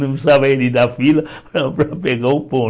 Não precisava ele dar fila para para pegar o pão.